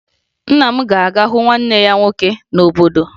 Nna m ga-aga hụ nwanne ya nwoke n'obodo